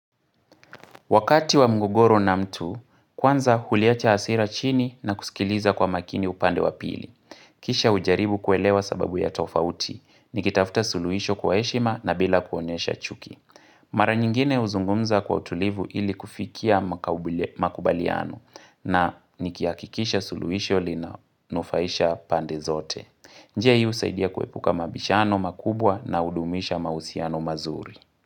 Wakati wa mgogoro na mtu, kwanza huliacha hasira chini na kusikiliza kwa makini upande wa pili. Kisha hujaribu kuelewa sababu ya tofauti, nikitafta suluhisho kwa heshima na bila kuonesha chuki. Mara nyingine huzungumza kwa utulivu ili kufikia makubaliano na niki hakikisha suluhisho lina nufaisha pande zote. Jia hio saidia kuepuka mabishano makubwa na hudumisha mahusiano mazuri.